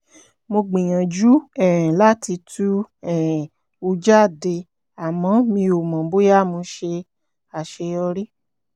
mo gbìyànjú um láti tú um u jáde àmọ́ mi ò mọ̀ bóyá mo ṣàṣeyọrí